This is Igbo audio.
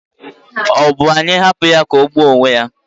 Ọ bụ anyị hapụ ya ka ọ gbuo onwe ya?